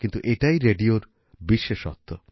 কিন্তু এটাই রেডিওর বিশেষত্ব